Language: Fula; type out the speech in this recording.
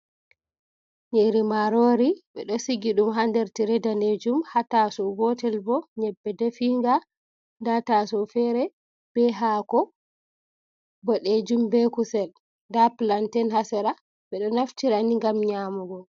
Nyiiri maarori, ɓe ɗo sigi ɗum ha nder tire danejum, ha taasawo gotel bo nyebbe definga, nda taasawo fere be haako boɗejum be kusel, nda planten ha sera. Ɓe ɗo naftira ni ngam nyaamugo.